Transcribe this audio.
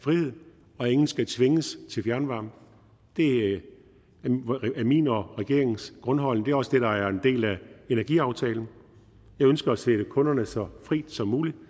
frihed og at ingen skal tvinges til fjernvarme det er min og regeringens grundholdning er også det der er en del af energiaftalen jeg ønsker at stille kunderne så frit som muligt